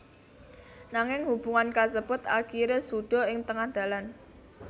Nanging hubungan kasebut akhiré suda ing tengah dalan